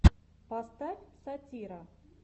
поставь сатира